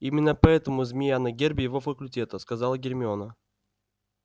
именно поэтому змея на гербе его факультета сказала гермиона